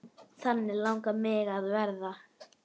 Þannig langaði mig að verða.